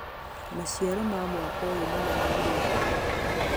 Maciaro ma mwaka ũyũ nĩmanyihĩte